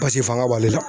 Basi fanga b'ale la